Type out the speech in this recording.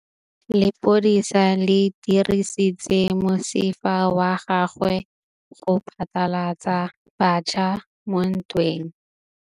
Lepodisa le dirisitse mosifa wa gagwe go phatlalatsa batšha mo ntweng.